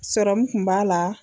Sɔrɔmu kun b'a la.